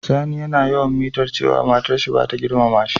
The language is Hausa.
Sani yana yawan mitar cewa matar sa bata girmama shi.